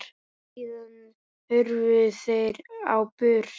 Síðan hurfu þeir á braut.